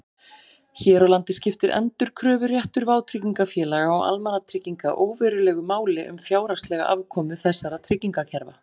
Hér á landi skiptir endurkröfuréttur vátryggingafélaga og almannatrygginga óverulegu máli um fjárhagslega afkomu þessara tryggingakerfa.